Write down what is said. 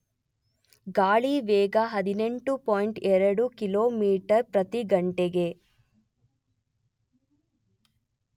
ಗಾಳಿ ವೇಗ ೧೮.೨ ಕಿಮಿ ಪ್ರತಿ ಗಂ